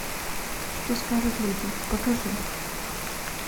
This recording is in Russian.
что скажут люди покажи